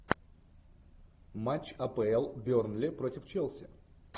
матч апл бернли против челси